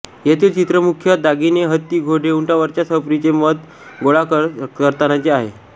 येथील चित्र मुख्यतः दागिने हत्ती घोडे उंटावरच्या सफरी चे मद गोळा करतानाचे आहे